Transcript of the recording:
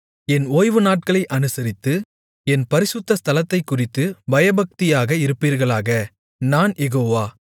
என் ஓய்வுநாட்களை அனுசரித்து என் பரிசுத்த ஸ்தலத்தைக்குறித்துப் பயபக்தியாக இருப்பீர்களாக நான் யெகோவா